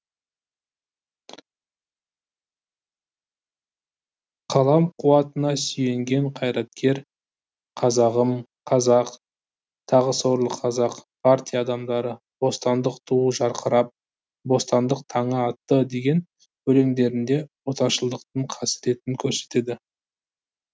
қалам қуатына сүйенген қайраткер қазағым қазақ тағы сорлы қазақ партия адамдары бостандық туы жарқырап бостандық таңы атты деген өлеңдерінде отаршылдықтың қасіретін көрсетеді